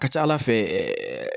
Ka ca ala fɛ ɛɛ